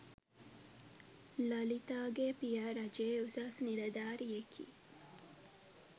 ලලිතාගේ පියා රජයේ උසස් නිලධාරියෙකි.